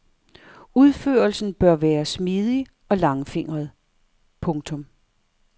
Udførelsen bør være smidig og langfingret. punktum